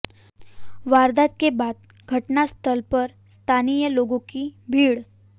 वारदात के बाद घटनास्थल पर स्थानीय लोगों की भीड़